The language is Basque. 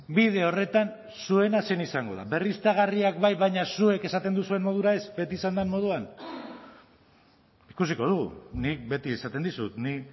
bide horretan zuena zein izango da berriztagarriak bai baina zuek esaten duzuen modura ez beti izan den moduan ikusiko dugu nik beti esaten dizut ni